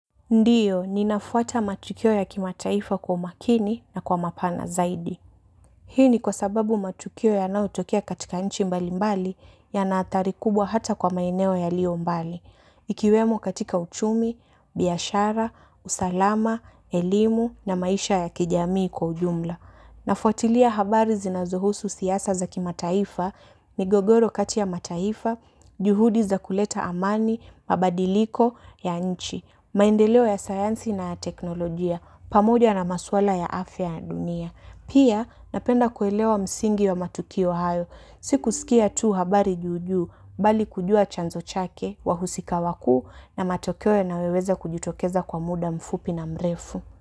Ndiyo, ninafuata matukio ya kimataifa kwa umakini na kwa mapana zaidi. Hii ni kwa sababu matukio yanayotokea katika nchi mbambali yana athari kubwa ata kwa maeneo yaliyo mbali. Ikiwemo katika uchumi, biashara, usalama, elimu na maisha ya kijamii kwa ujumla. Nafwatilia habari zinazohusu siasa za kimataifa migogoro kati ya mataifa, juhudi za kuleta amani, mabadiliko, ya nchi. Maendeleo ya sayansi na ya teknolojia pamoja na maswala ya afya na dunia. Pia napenda kuelewa msingi wa matukio hayo. Si kuskia tu habari juu juu bali kujua chanzo chake wahusika wakuu na matokeo yanayoweza kujitokeza kwa mda mfupi na mrefu.